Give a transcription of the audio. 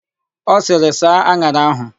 Ọ sịrị, "saa an̄ara áhụ̀"!